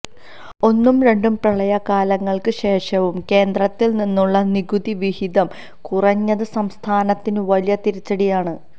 ഒന്നും രണ്ടും പ്രളയകാലങ്ങൾക്ക് ശേഷവും കേന്ദ്രത്തിൽ നിന്നുള്ള നികുതി വിഹിതം കുറഞ്ഞത് സംസ്ഥാനത്തിന് വലിയ തിരിച്ചടിയാണ്